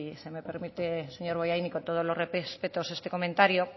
se me permite señor bollain y con todos los respetos este comentario